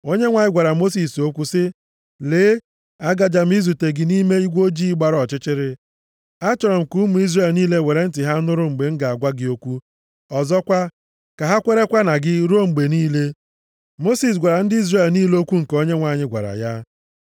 Onyenwe anyị gwara Mosis okwu sị, “Lee, agaje m izute gị nʼime igwe ojii gbara ọchịchịrị. Achọrọ m ka ụmụ Izrel niile were ntị ha nụrụ mgbe m ga-agwa gị okwu, ọzọkwa, ka ha kwerekwa na gị ruo mgbe niile.” Mosis gwara ndị Izrel niile okwu nke Onyenwe anyị gwara ya.